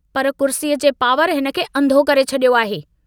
पर कुर्सीअ जे पावर हिनखे अन्धो करे छड़ियो आहे।